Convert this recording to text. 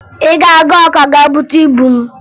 Ị ga-aga Ọka gaa bute ibu m!